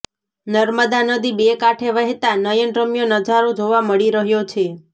નર્મદા નદી બે કાંઠે વહેતા નયન રમ્ય નજારો જોવા મળી રહ્યો છે